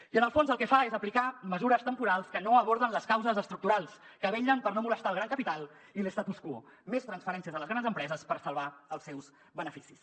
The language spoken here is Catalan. i en el fons el que fa és aplicar mesures temporals que no aborden les causes estructurals que vetllen per no molestar el gran capital i l’statu quo més transferències a les grans empreses per salvar els seus beneficis